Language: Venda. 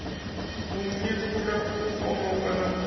u nyefula u pomoka na